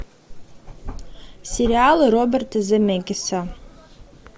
сериалы роберта земекиса